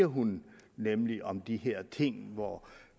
hun nemlig om de her ting hvor